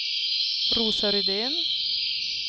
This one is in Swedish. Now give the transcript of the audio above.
Rosa Rydén